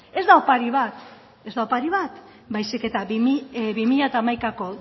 ez da opari bat baizik eta bi mila hamaikako